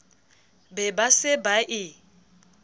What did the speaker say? be ba se ba e